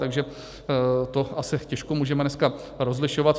Takže to asi těžko můžeme dneska rozlišovat.